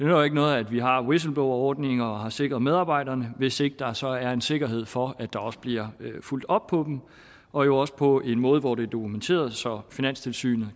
jo ikke noget at vi har whistleblowerordninger og har sikret medarbejderne hvis ikke der så er en sikkerhed for at der også bliver fulgt op på dem og jo også på en måde hvor det er dokumenteret så finanstilsynet